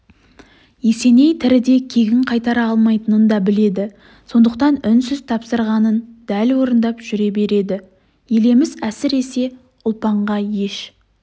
есеней тіріде кегін қайтара алмайтынын да біледі сондықтан үнсіз тапсырғанын дәл орындап жүре береді елеміс әсіресе ұлпанға еш